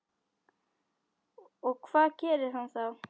Og hvað gerir hann þá?